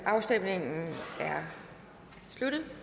afstemningen er sluttet